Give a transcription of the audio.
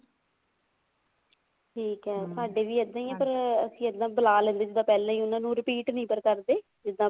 ਠੀਕ ਹੈ ਸਾਡੇ ਵੀ ਇੱਦਾਂ ਹੀ ਹੈ ਪਰ ਅਸੀਂ ਇੱਦਾਂ ਬੁਲਾ ਲੈਂਦੇ ਜਿੱਦਾਂ ਪਹਿਲਾਂ ਹੀ ਉਹਨਾ ਨੂੰ repeat ਨੀ ਕਰਦੇ ਜਿੱਦਾਂ